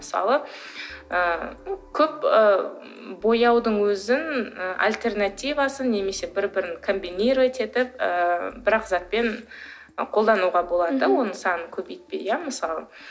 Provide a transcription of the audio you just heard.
мысалы ы көп ы бояудың өзін і альтернативасы немесе бір біріне комбинировать етіп ііі бір ақ затпен қолдануға болады да оның санын көбейтпей иә мысалы